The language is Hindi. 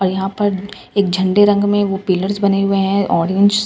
और यहाँ पर एक झंडे रंग में वो पिल्लर्स बने हुए हैं ऑरेंज --